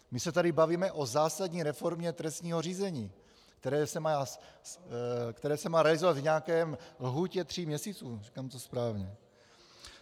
My se tady bavíme o zásadní reformě trestního řízení, které se má realizovat v nějaké lhůtě tří měsíců, říkám to správně.